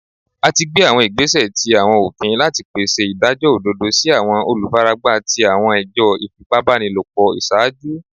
A ti gbe awọn igbesẹ ti ofin lati pese idajọ ododo si awọn olufaragba ti awọn ẹjọ ifipabanilopo iṣaaju